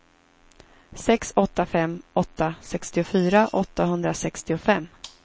sex åtta fem åtta sextiofyra åttahundrasextiofem